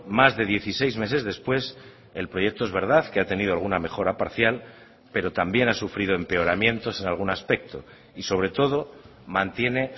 más de dieciséis meses después el proyecto es verdad que ha tenido alguna mejora parcial pero también ha sufrido empeoramientos en algún aspecto y sobre todo mantiene